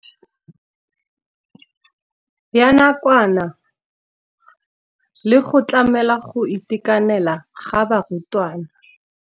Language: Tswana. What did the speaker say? Ya nakwana le go tlamela go itekanela ga barutwana.